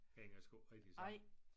Hænger sgu ikke rigtig sammen